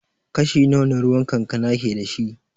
Kashi nawa na ruwan kankana ke da shi?